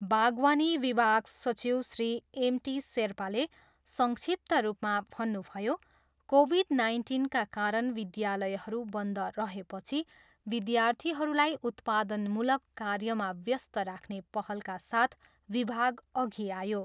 बागवानी विभाग सचिव श्री एम. टी. शेर्पाले संक्षिप्त रूपमा भन्नुभयो, कोभिड नाइन्टिनका कारण विद्यालयहरू बन्द रहेपछि विद्यार्थीहरूलाई उत्पादनमूलक कार्यमा व्यस्त राख्ने पहलका साथ विभाग अघि आयो।